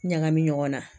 Ɲagami ɲɔgɔn na